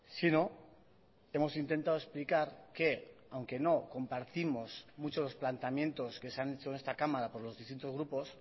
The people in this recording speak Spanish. si no hemos intentado explicar que aunque no compartimos muchos planteamientos que se han hecho en esta cámara por los distintos grupos